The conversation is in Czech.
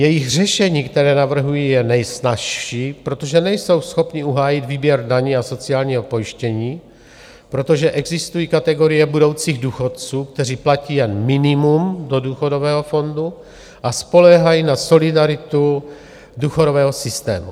Jejich řešení, které navrhují je nejsnazší, protože nejsou schopni uhájit výběr daní a sociálního pojištění, protože existují kategorie budoucích důchodců, kteří platí jen minimum do důchodového fondu a spoléhají na solidaritu důchodového systému.